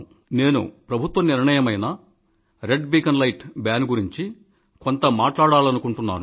నేను ప్రభుత్వ నిర్ణయమైన రెడ్ బీకాన్ లైట్ బాన్ గురించి కొంత మాట్లాడాలనుకుంటున్నాను